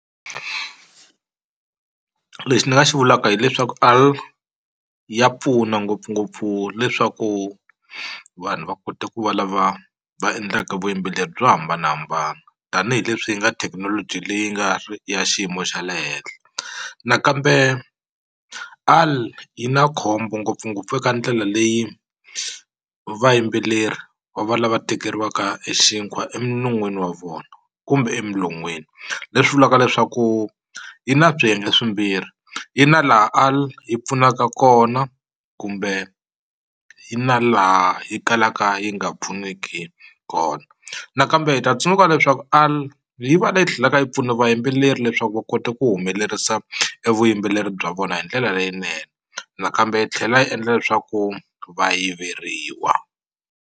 Lexi ni nga xi vulaka hileswaku ya pfuna ngopfungopfu leswaku vanhu va kota ku va lava va endlaka vuyimbeleri byo hambanahambana tanihileswi yi nga thekinoloji leyi nga ri ya xiyimo xa le henhla nakambe yi na khombo ngopfungopfu eka ndlela leyi vayimbeleri va va lava tekeriwaka e xinkwa eminon'wini wa vona kumbe emilon'weni leswi vulaka leswaku yi na swiyenge swimbirhi yi na laha yi pfunaka kona kumbe yi na laha yi kalaka yi nga pfuneki kona nakambe hi ta tsundzuka leswaku yi va leyi tlhelaka yi pfuna vayimbeleri leswaku va kota ku humelerisa e vuyimbeleri bya vona hi ndlela leyinene nakambe yi tlhela yi endla leswaku va yiveriwa.